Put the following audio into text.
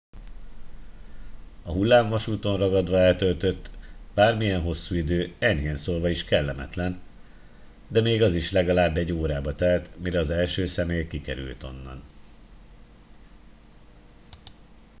"a hullámvasúton ragadva eltöltött bármilyen hosszú idő enyhén szólva is kellemetlen de még az is legalább egy órába telt mire az első személy kikerült onnan. "